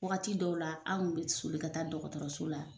Wagati dɔw la anw tun bɛ soli ka taa dɔgɔtɔrɔso la.